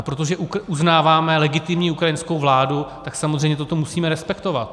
A protože uznáváme legitimní ukrajinskou vládu, tak samozřejmě toto musíme respektovat.